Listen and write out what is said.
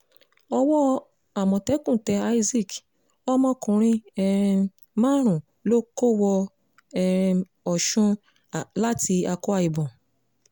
owó amọ̀tẹ́kùn tẹ isaac ọmọkùnrin um márùn-ún lọ kó wọ um ọ̀sùn láti akwa ibom